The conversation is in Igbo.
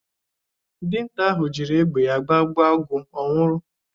Dinta ahụ jịrị egbe ya gbagbụo Agụ owulu.